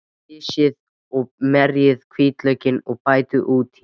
Flysjið og merjið hvítlaukinn og bætið út í.